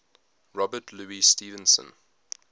robert louis stevenson